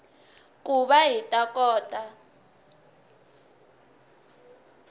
ku va hi ta kota